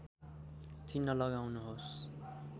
चिन्ह लगाउनुहोस्